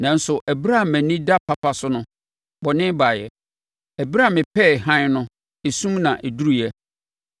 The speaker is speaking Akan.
Nanso ɛberɛ a mʼani da papa so no, bɔne baeɛ; ɛberɛ a mepɛɛ hann no, esum na ɛduruuɛ.